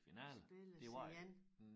Spilles igen